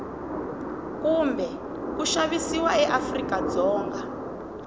kumbe ku xavisiwa eafrika dzonga